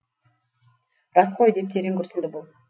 рас қой деп терең күрсінді бұл